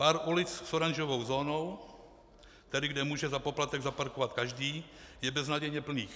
Pár ulic s oranžovou zónou, tedy kde může za poplatek zaparkovat každý, je beznadějně plný.